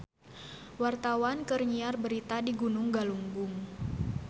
Wartawan keur nyiar berita di Gunung Galunggung